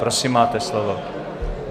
Prosím, máte slovo.